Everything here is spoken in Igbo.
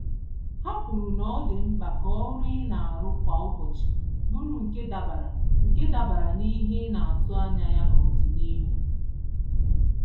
Ha kwuru na ọdị mkpa ka ọrụ inaru kwa ụbọchị bụrụ nke dabara nke dabara n'ihe ịnatụ anya ya n'ọdịnihu